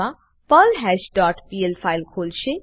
મા perlhash dot PL file ખોલશે